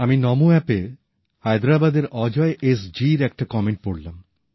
আমি নমো অ্যাপএ হায়দ্রাবাদের অজয় এস জীর একটা কমেন্ট পড়লাম